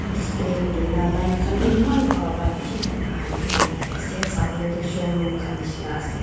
display kori na light khan bhi eman bhan para bisi bhota hale kina dekhi ase sabo le tu showroom ka jisna ase.